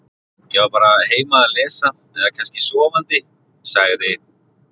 Ég var bara heima að lesa eða kannski sofandi- sagði